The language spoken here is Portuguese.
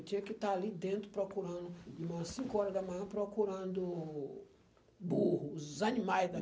Eu tinha que estar ali dentro, procurando, umas cinco horas da manhã, procurando burro, os animais da